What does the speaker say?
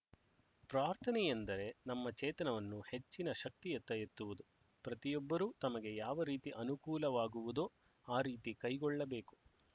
ಪ್ರಾರ್ಥನೆಯೆಂದರೆ ನಮ್ಮ ಚೇತನವನ್ನು ಹೆಚ್ಚಿನ ಶಕ್ತಿಯತ್ತ ಎತ್ತುವುದು ಪ್ರತಿಯೊಬ್ಬರೂ ತಮಗೆ ಯಾವ ರೀತಿ ಅನುಕೂಲವಾಗುವುದೋ ಆ ರೀತಿ ಕೈಕೊಳ್ಳಬೇಕು